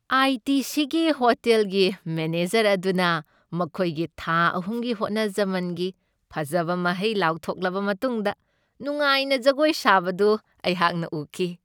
ꯑꯥꯏ. T. ꯁꯤ.ꯒꯤ ꯍꯣꯇꯦꯜꯒꯤ manager ꯑꯗꯨꯅ ꯃꯈꯣꯏꯒꯤ ꯊꯥ ꯑꯍꯨꯝꯒꯤ ꯍꯣꯠꯅꯖꯃꯟꯒꯤ ꯐꯖꯕ ꯃꯍꯩ ꯂꯥꯎꯊꯣꯛꯂꯕ ꯃꯇꯨꯡꯗ ꯅꯨꯡꯉꯥꯏꯅ ꯖꯒꯣꯏ ꯁꯥꯕꯗꯨ ꯑꯩꯍꯥꯛꯅ ꯎꯈꯤ ꯫